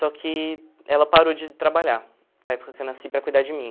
Só que ela parou de trabalhar, na época que eu nasci, para cuidar de mim.